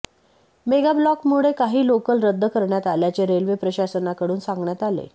मेगाब्लॉकमुळे काही लोकल रद्द करण्यात आल्याचे रेल्वे प्रशासनाकडून सांगण्यात आले